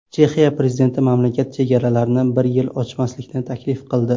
Chexiya prezidenti mamlakat chegaralarini bir yil ochmaslikni taklif qildi.